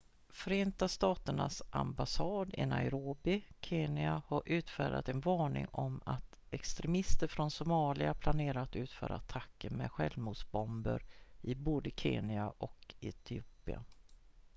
"förenta staternas ambassad i nairobi kenya har utfärdat en varning om att "extremister från somalia" planerar att utföra attacker med självmordsbomber i både kenya och etiopien.